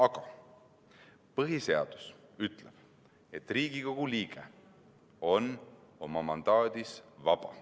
Aga põhiseadus ütleb, et Riigikogu liige on oma mandaadis vaba.